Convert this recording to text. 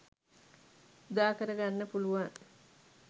උදාකර ගන්න පුළුවන්.